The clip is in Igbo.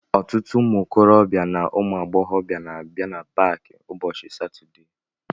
Ọtụtụ ụmụ okorobịa na ụmụ agbọghọ na abịa na paaki ụbọchị satọdee